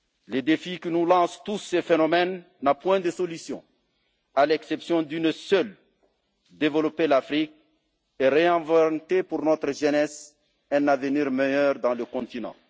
Le défi que nous lancent tous ces phénomènes n'a point de solution, à l'exception d'une seule développer l'Afrique et réinventer pour notre jeunesse un avenir meilleur sur le continent.